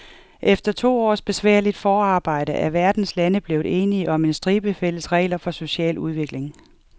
Efter to års besværligt forarbejde er verdens lande blevet enige om en stribe fælles regler for social udvikling.